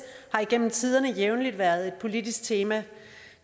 har igennem tiderne jævnligt været et politisk tema